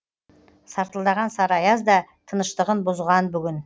сартылдаған сары аяз да тыныштығын бұзған бүгін